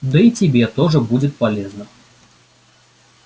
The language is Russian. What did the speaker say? да и тебе тоже будет полезно